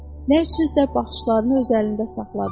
Nə üçünsə baxışlarını öz əlində saxladı.